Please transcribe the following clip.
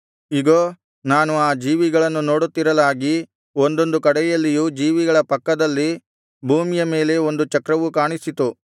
ಇಗೋ ನಾನು ಆ ಜೀವಿಗಳನ್ನು ನೋಡುತ್ತಿರಲಾಗಿ ಒಂದೊಂದು ಕಡೆಯಲ್ಲಿಯೂ ಜೀವಿಗಳ ಪಕ್ಕದಲ್ಲಿ ಭೂಮಿಯ ಮೇಲೆ ಒಂದು ಚಕ್ರವು ಕಾಣಿಸಿತು